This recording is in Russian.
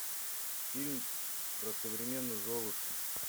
фильм про современную золушку